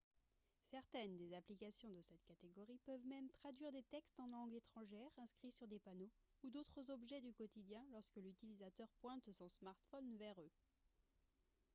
certaines des applications de cette catégorie peuvent même traduire des textes en langue étrangère inscrits sur des panneaux ou d'autres objets du quotidien lorsque l'utilisateur pointe son smartphone vers eux